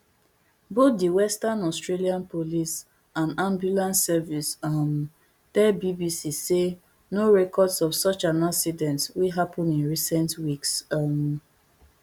both di western australia police and ambulance service um tell bbc say no records of such an accident wey happen in recent weeks um